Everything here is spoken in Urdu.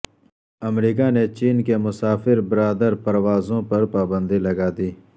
امریکہ نے چین کی مسافر بردار پروازوں پر پابندی لگادی